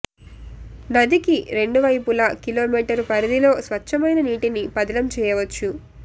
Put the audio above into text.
నదికి రెండు వైపులా కిలోమీటరు పరిధిలో స్పచ్ఛమైన నీటిని పదిలం చేయవచ్చు